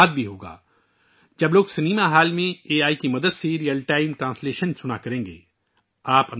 فلموں کے ساتھ بھی ایسا ہی ہوگا جب عوام سنیما ہال میں اے آئی کی مدد سے ریئل ٹائم ٹرانسلیشن سنا کریں گے